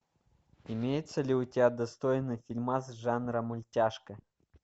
имеется ли у тебя достойный фильмас жанра мультяшка